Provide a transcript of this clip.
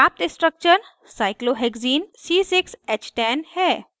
प्राप्त structure cyclohexene cyclohexene c6h10 है